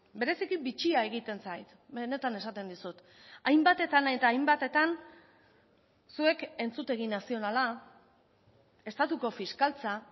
bereziki bitxia egiten zait benetan esaten dizut hainbatetan eta hainbatetan zuek entzutegi nazionala estatuko fiskaltza